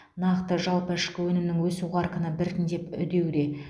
нақты жалпы ішкі өнімнің өсу қарқыны біртіндеп үдеуде